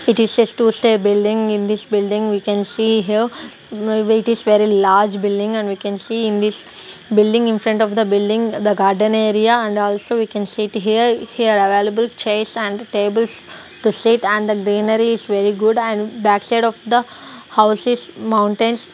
it is a two stair building in this building we can see here wait is very large building and we can see in this building in front of the building the garden area and also we can sit here here available chairs and tables to sit and greenery is very good and back side of the house is mountains.